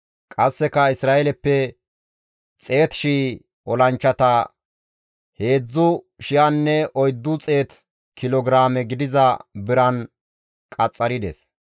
Qasseka Isra7eeleppe 100,000 olanchchata 3,400 kilo giraame gidiza biran qaxxarides.